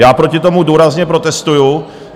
Já proti tomu důrazně protestuji.